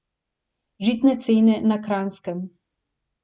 Žitne cene na Kranjskem...